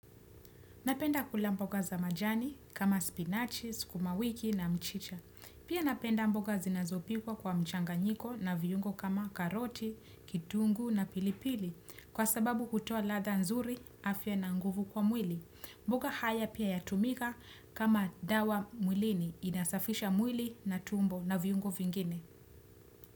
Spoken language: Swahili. Napenda kula mboga za majani kama spinachi, sukumawiki na mchicha. Pia napenda mboga zinazopikwa kwa mchanganyiko na viungo kama karoti, kitunguu na pilipili. Kwa sababu hutoa ladha nzuri, afya na nguvu kwa mwili. Mboga haya pia yatumika kama dawa mwilini. Inasafisha mwili na tumbo na viungo vingine.